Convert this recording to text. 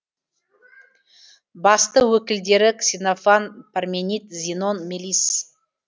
басты өкілдері ксенофан парменид зенон мелисс